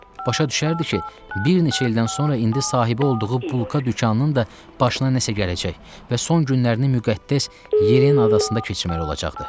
Başa düşərdi ki, bir neçə ildən sonra indi sahibi olduğu bulka dükanının da başına nəsə gələcək və son günlərini müqəddəs Yelena adasında keçirməli olacaqdı.